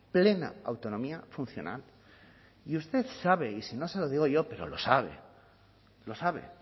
plena autonomía funcional y usted sabe y si no se lo digo pero lo sabe lo sabe